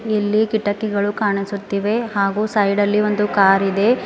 ಇಲ್ಲಿ ಕಿಟಕಿಗಳು ಹಾಗೆ ಸೈಡಲ್ಲಿ ಒಂದು ಕಾರ್ ಇದೆ.